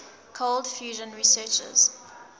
cold fusion researchers